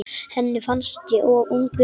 Henni fannst ég of ungur.